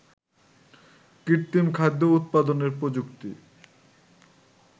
কৃত্রিম খাদ্য উৎপাদনের প্রযুক্তি